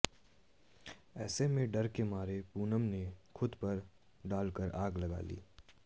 ऐसे में डर के मारे पूनम ने खुद पर केरोसीन डालकर आग लगा ली